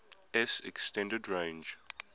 s extended range